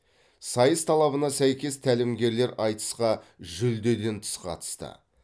сайыс талабына сәйкес тәлімгерлер айтысқа жүлдеден тыс қатысты